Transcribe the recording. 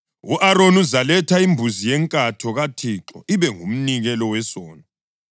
U-Aroni uzaletha imbuzi yenkatho kaThixo ibe ngumnikelo wesono.